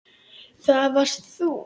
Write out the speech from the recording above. Það varst þú.